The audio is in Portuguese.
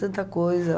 Tanta coisa.